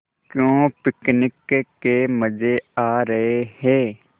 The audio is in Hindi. क्यों पिकनिक के मज़े आ रहे हैं